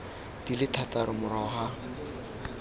di le thataro morago ga